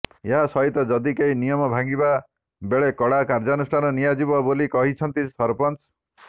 ଏହାସହିତ ଯଦି କେହି ନିୟମ ଭାଙ୍ଗିଲା ତେବେ କଡା କାର୍ଯ୍ୟାନୁଷ୍ଠାନ ନିଆ ଯିବ ବୋଲି କହିଛନ୍ତି ସରପଞ୍ଚ